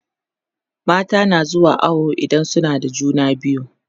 mata na zuwa awo idan suna da juna biyu